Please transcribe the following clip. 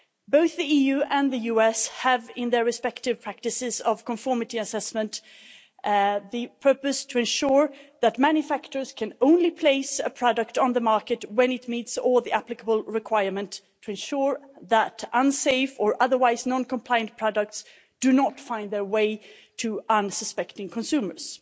Both the EU and the US have in their respective practices of conformity assessment the purpose to ensure that manufacturers can only place a product on the market when it meets all the applicable requirements to ensure that unsafe or otherwise non-compliant products do not find their way to unsuspecting consumers.